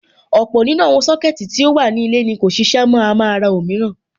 Ọ̀pọ̀ nínú àwọn Sọ́kẹ̀tì tí ó wà ní ilé ni kò ṣiṣẹ́ mọ́, a máa ra òmíràn.